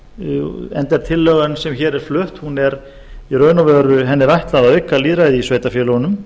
lýðræðismál enda er tillögunni sem hér er flutt í raun og veru ætlað að auka lýðræði í sveitarfélögunum